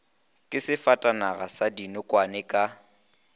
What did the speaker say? ke sefatanaga sa dinokwane ka